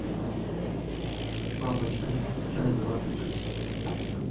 папочка часть двадцать шесть